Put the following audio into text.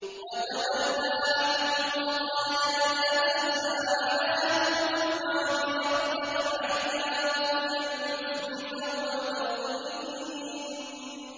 وَتَوَلَّىٰ عَنْهُمْ وَقَالَ يَا أَسَفَىٰ عَلَىٰ يُوسُفَ وَابْيَضَّتْ عَيْنَاهُ مِنَ الْحُزْنِ فَهُوَ كَظِيمٌ